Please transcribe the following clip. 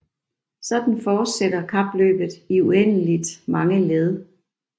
Sådan fortsætter kapløbet i uendeligt mange led